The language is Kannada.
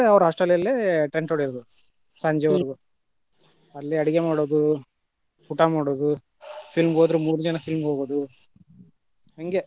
ಅವ್ರ hostel ಅಲ್ಲೆ tent ಹೊಡಿಯುದ ಸಂಜಿವರ್ಗು, ಅಲ್ಲೆ ಅಡ್ಗೆ ಮಾಡುದು, ಊಟಾ ಮಾಡುದು film ಹೋದ್ರ ಮೂರು ಜನ film ಹೋಗುದು ಹಂಗೆ.